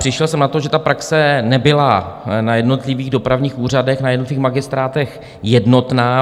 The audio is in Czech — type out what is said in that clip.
Přišel jsem na to, že ta praxe nebyla na jednotlivých dopravních úřadech na jednotlivých magistrátech jednotná.